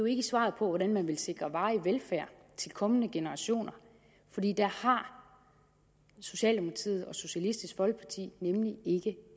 ikke svaret på hvordan man vil sikre varig velfærd til kommende generationer for det har socialdemokratiet og socialistisk folkeparti nemlig ikke